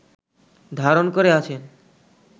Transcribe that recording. ধারণ করে আছেন